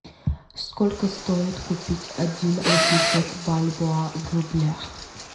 сколько стоит купить один восемьсот бальбоа в рублях